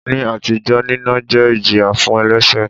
Ní àtijọ́, nínà jẹ́ ìjìyà fún elẹ́ṣẹ̀.